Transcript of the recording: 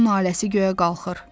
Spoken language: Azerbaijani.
Onun naləsi göyə qalxır.